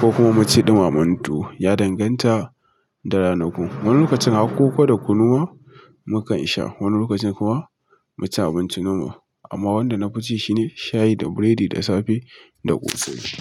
ko kuma mu ci ɗuma men tuwo ya danganta da ranaku. Wani lokacin har koko da kunuwa mu kan sha, wani lokacin kuma mu ci abinci nomal. Amma wanda na fi ci shine shayi da biredi da safe da ƙosai.